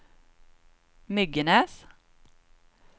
Myggenäs